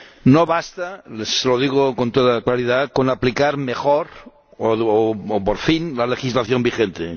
No basta ―y se lo digo con toda claridad― con aplicar mejor o por fin la legislación vigente.